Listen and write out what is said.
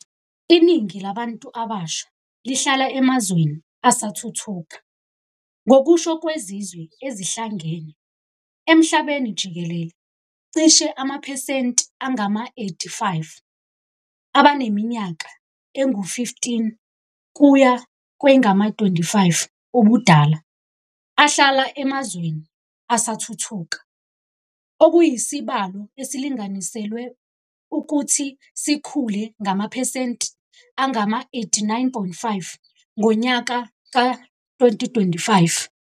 Iningi labantu abasha lihlala emazweni asathuthuka - ngokusho kweZizwe Ezihlangene, emhlabeni jikelele cishe amaphesenti angama-85 abaneminyaka engu-15 kuya kwengama-25 ubudala ahlala emazweni asathuthuka, okuyisibalo esilinganiselwe ukuthi sikhule ngamaphesenti angama-89.5 ngonyaka ka-2025.